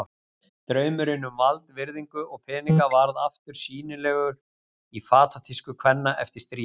Draumurinn um vald, virðingu og peninga varð aftur sýnilegur í fatatísku kvenna eftir stríð.